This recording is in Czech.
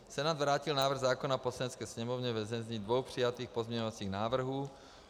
Senát vrátil návrh zákona Poslanecké sněmovně ve znění dvou přijatých pozměňovacích návrhů.